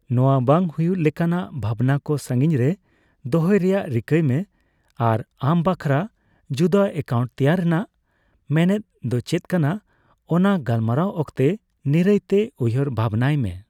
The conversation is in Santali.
ᱱᱚᱣᱟ ᱵᱟᱝ ᱦᱩᱭ ᱞᱮᱠᱟᱱᱟᱜ ᱵᱷᱟᱵᱱᱟ ᱠᱚ ᱥᱟᱹᱜᱤᱧ ᱨᱮ ᱫᱚᱦᱚᱭ ᱨᱮᱭᱟᱜ ᱨᱤᱠᱟᱹᱭ ᱢᱮ ᱟᱨ ᱟᱢ ᱵᱟᱠᱷᱨᱟ ᱡᱩᱫᱟᱹ ᱮᱠᱟᱣᱩᱱᱴ ᱛᱮᱭᱟᱨ ᱨᱮᱭᱟᱜ ᱢᱮᱱᱮᱫ ᱫᱚ ᱪᱮᱫ ᱠᱟᱱᱟ ᱚᱱᱟ ᱜᱟᱞᱢᱟᱨᱟᱣ ᱚᱠᱛᱚ ᱱᱤᱨᱟᱹᱭ ᱛᱮ ᱩᱭᱦᱟᱹᱨ ᱵᱷᱟᱵᱽᱱᱟᱭ ᱢᱮ ᱾